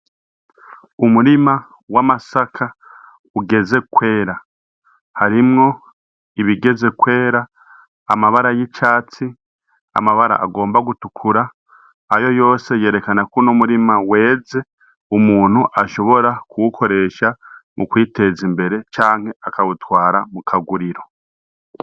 Umurima w'amasaka ugeze kwera harimwo ibigeze kwera amabara y'icatsi amabara agomba gutukura ayo yose yerekanaku n' murima weze umuntu ashobora kuwukoresha mu kwiteza imbere canke akawutwa ara mu kaguriro.